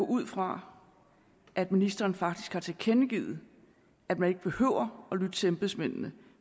ud fra at ministeren faktisk har tilkendegivet at man ikke behøver at lytte til embedsmændene